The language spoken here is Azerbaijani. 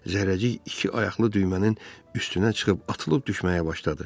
Zərrəcik iki ayaqlı düymənin üstünə çıxıb atılıb düşməyə başladı.